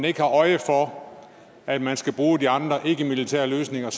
ikke har øje for at man skal bruge de andre ikkemilitære løsninger